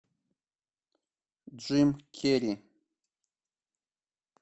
джим керри